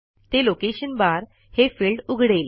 ते location bar हे field उघडेल